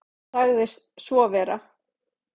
Hann sagði svo vera.